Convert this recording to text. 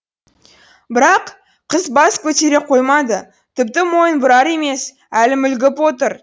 бірақ қыз бас көтере қоймады тіпті мойын бұрар емес әлі мүлгіп отыр